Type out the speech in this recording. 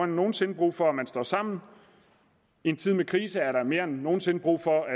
nogen sinde brug for at man står sammen i en tid med krise er der mere end nogen sinde brug for at